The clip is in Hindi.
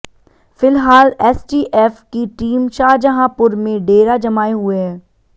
फिलहाल एसटीएफ की टीम शाहजहांपुर में डेरा जमाए हुए है